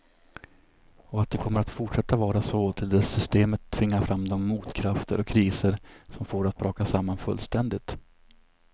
Och att det kommer att fortsätta vara så till dess systemet tvingar fram de motkrafter och kriser som får det att braka samman fullständigt.